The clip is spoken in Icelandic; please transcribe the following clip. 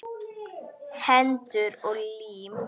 Hendur og lim.